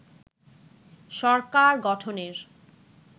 সরকার গঠনের